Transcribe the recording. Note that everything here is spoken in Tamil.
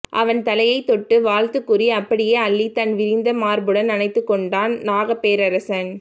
அவன் தலையைத் தொட்டு வாழ்த்துக்கூறி அப்படியே அள்ளி தன் விரிந்த மார்புடன் அணைத்துக் கொண்டான் நாகப்பேரரசன்